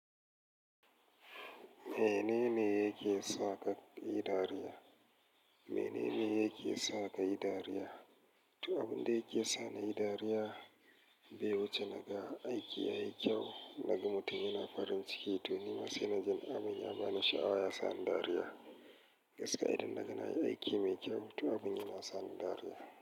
Menene yake sa ka yi dariya? Menene yake sa ka yi dariya? To, abin da yake sa nayi dariya be wuce na ga aiki yayi kyau, naga mutum yana farin ciki. To, nima sai na ji abum yabani sha'awa ya sa ni dariya. Gaskiya idan naga nayi aiki mai kyau, to abin yana sa ni dariya.